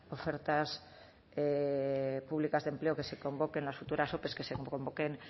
ofertas públicas de empleo que se convoquen en las futuras ope que se convoquen